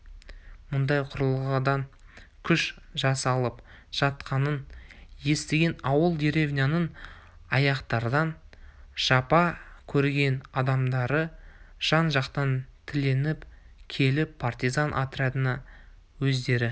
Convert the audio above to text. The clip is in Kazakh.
мұндай құралданған күш жасалып жатқанын естіген ауыл деревняның ақтардан жапа көрген адамдары жан-жақтан тіленіп келіп партизан отрядына өздері